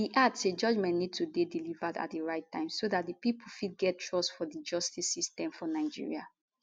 e add say judgement need to dey delivered at di right time so di pipo go fit get trust fot di justice system for nigeria